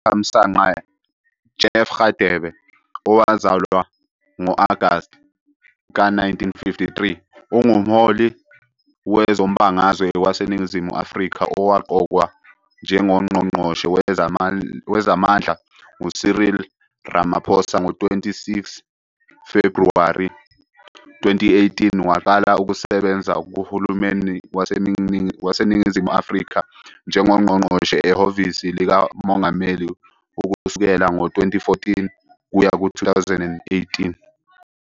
Thamsanqa "Jeff" Radebe, owazalwa ngo-Agasti ka-1953, ungumholi wezombangazwe waseNingizimu Afrika owaqokwa njengoNgqongqoshe Wezamandla nguCyril Ramaphosa ngo-26 Febhuwari 2018. Waqala ukusebenza kuhulumeni waseNingizimu Afrika njengoNgqongqoshe ehhovisi likaMongameli ukusukela ngo-2014 kuya ku-2018.